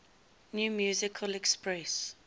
new musical express